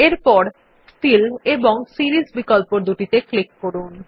এবার ফিল এবং সিরিস বিকল্পদুটিতে ক্লিক করুন